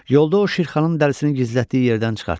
Yolda o Şirxanın dərisini gizlətdiyi yerdən çıxartdı.